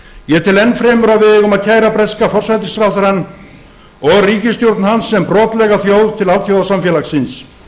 ég tel enn fremur að við eigum að kæra breska forsætisráðherrann og ríkisstjórn hans sem brotlega þjóð til alþjóðasamfélagsins